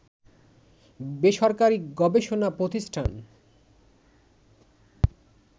বেসরকারী গবেষণা প্রতিষ্ঠান